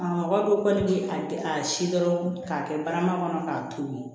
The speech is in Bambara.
A mɔgɔ bɛ wari di a si dɔrɔn k'a kɛ barama kɔnɔ k'a to ye